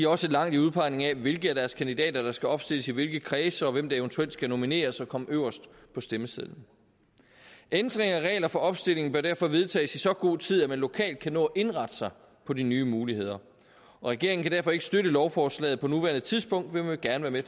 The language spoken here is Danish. også langt i udpegningen af hvilke af deres kandidater der skal opstilles i hvilke kredse og hvem der eventuelt skal nomineres og komme øverst på stemmesedlen ændringer af regler for opstilling bør derfor vedtages i så god tid at man lokalt kan nå at indrette sig på de nye muligheder og regeringen kan derfor ikke støtte lovforslaget på nuværende tidspunkt men vi vil gerne